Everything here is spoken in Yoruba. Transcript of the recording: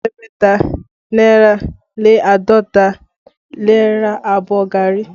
Ẹ̀ẹ́dẹ́gbẹ̀ta náírà lé àádọ́ta lè ra àbọ̀ gari